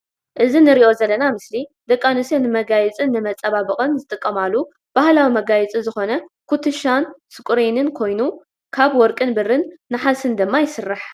እዚ ንርኦ ዘለና ምስሊ ደቂ ኣንስትዮ ንመጋየፂን ንመፃባበቅን ዝጠቀማሉ ባህላዊ መጋየፂ ዝኮነ ኩትሻን ስቁሬንን ኮይኑ ካብ ወርቅን ብርን ንሓስን ድማ ይስራሕ።